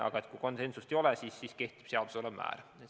Aga kui konsensust ei ole, siis kehtib seaduse määr.